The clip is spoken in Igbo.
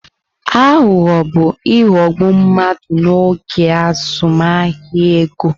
Aghụghọ bu ighọgbu mmadụ n'oge azụmahịa ego.